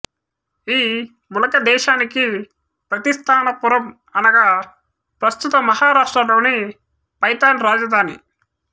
ఈ ములక దేశానికి ప్రతిస్థానపురం అనగా ప్రస్తుత మహారాష్ట్ర లోని పైథాన్ రాజధాని